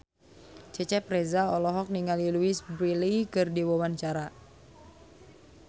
Cecep Reza olohok ningali Louise Brealey keur diwawancara